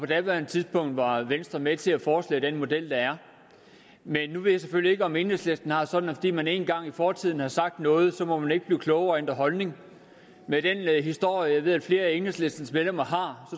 daværende tidspunkt var venstre med til at foreslå den model der er men nu ved jeg selvfølgelig ikke om enhedslisten har det sådan at fordi man engang i fortiden har sagt noget så må man ikke blive klogere og ændre holdning med den historie som jeg ved flere af enhedslistens medlemmer har